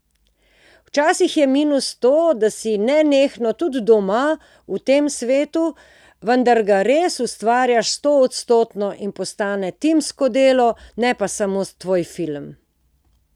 Včasih je minus to, da si nenehno, tudi doma, v tem svetu, vendar ga res ustvarjaš stoodstotno in postane timsko delo, ne pa samo tvoj film.